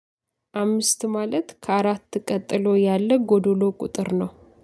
አምስት ማለት ከአራት ቀጥሎ ያለ ጎዶሎ ቁጥር ነው።